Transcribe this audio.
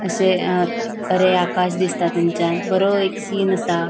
अशे अ बरे आकाश दिसता थंच्यान बरो एक सीन आसा.